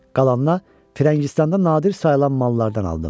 Qalanına Firəngistanda nadir sayılan mallardan aldım.